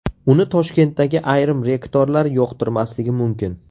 Uni Toshkentdagi ayrim rektorlar yoqtirmasligi mumkin.